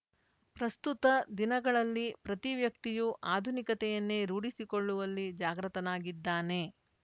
ಪ್ರಸ್ತುತ ದಿನಗಳಲ್ಲಿ ಪ್ರತಿ ವ್ಯಕ್ತಿಯೂ ಆಧುನಿಕತೆಯನ್ನೇ ರೂಢಿಸಿಕೊಳ್ಳುವಲ್ಲಿ ಜಾಗೃತನಾಗಿದ್ದಾನೆ